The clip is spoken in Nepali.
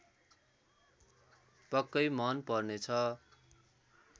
पक्कै मन पर्नेछ